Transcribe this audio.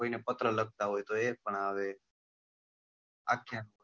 કોઈ ને પત્ર લખતા હોય તો એ પણ આવે